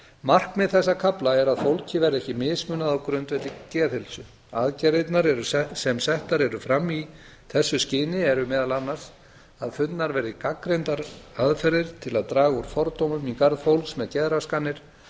markmið þessa kafla er að fólki verði ekki mismunað á grundvelli geðheilsu aðgerðirnar sem settar eru fram í þessu skyni eru meðal annars að fundnar verði gagnrýnar aðferðir til að draga úr fordómum í garð fólks með geðraskanir